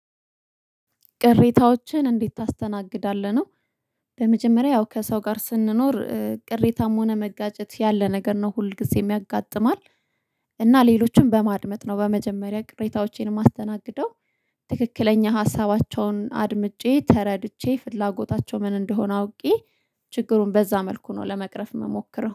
ቅሬታዎችን እንዴት ታስተናግዳለህ ነው? ለመጀመሪያ ያው ከሰው ጋር ስንኖር ቅሬታም ሆነ መጋጨት ያለ ነገር ነው ሁል ጊዜ የሚያጋጥማል። እና ሌሎችንም በማድመጥ ነው በመጀመሪያ ቅሬታዎቼን ማስተናገደው። ትክክለኛ ሀሳባቸውን አድምጬ ተረድቼ ፍላጎታቸው ምን እንደሆነ አውቄ። ችግሩን በዛ መልኩ ነው ለመቅረፍ የምሞክረው